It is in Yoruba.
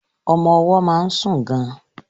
Ọmọ ọwọ́ máa ń sùn gan.